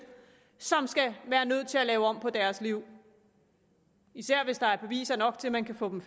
som skal være nødt til at lave om på deres liv især hvis der er beviser nok til at man kan få dem